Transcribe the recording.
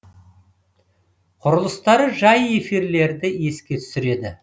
құрылыстары жай эфирлерді еске түсіреді